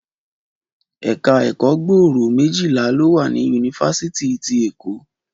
Ẹ̀ka ẹ̀kọ́ gbòòrò méjìlá lọ wà ní yunifásítì ti Eko